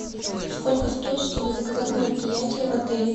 сколько стоит чтобы заказать мероприятие в отеле